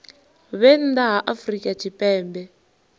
vhe nnḓa ha afrika tshipembe